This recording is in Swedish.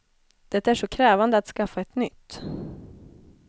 Det är så krävande att skaffa ett nytt.